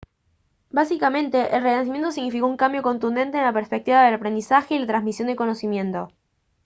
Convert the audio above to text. básicamente el renacimiento significó un cambio de contundente en la perspectiva del aprendizaje y la transmisión del conocimiento